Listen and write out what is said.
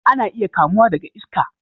Ana iya kamuwa daga iska